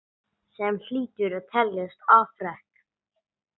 Sem hlýtur að teljast afrek.